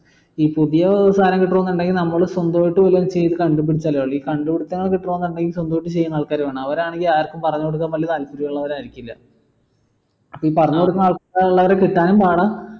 പുതിയ സാധനം കിട്ടണോന്നുണ്ടെങ്കിൽ നമ്മളെ സ്വന്തം ആയിട്ട് വല്ലോം ചെയ്ത് കണ്ടുപിടിച്ച് ഈ കണ്ടുപിടുത്തങ്ങൾ കിട്ടണോന്നുണ്ടെങ്കിൽ സ്വന്തായിട്ട് ചെയ്യുന്ന ആൾക്കാരെ വേണം അവരാണെങ്കിൽ ആർക്കും പറഞ്ഞുകൊടുക്കാൻ വേണ്ടി താല്പര്യം ഉള്ളവർ ആയിരിക്കില്ല ഈ പറഞ്ഞു കൊടുക്കുന്ന ആൾക്കാര് കിട്ടാനും പാടാ